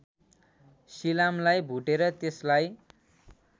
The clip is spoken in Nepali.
सिलामलाई भुटेर त्यसलाई